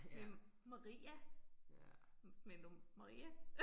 Med Maria. Mener du Maria?